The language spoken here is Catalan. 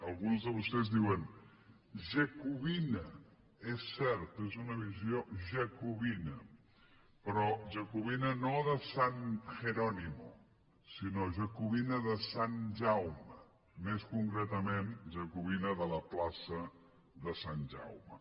algun de vostès en diuen jacobina és cert és una visió jacobina però jacobina no de sant jerónimo sinó jacobina de sant jaume més concretament jacobina de la plaça de sant jaume